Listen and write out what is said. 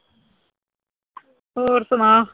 ਹੋਰ ਸੁਣਾ